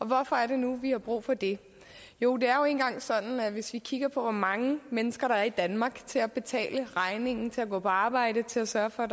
hvorfor er det nu vi har brug for det jo det er jo nu engang sådan at hvis vi kigger på hvor mange mennesker der er i danmark til at betale regningerne til at gå på arbejde til at sørge for